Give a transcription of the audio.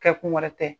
Kɛkun wɛrɛ tɛ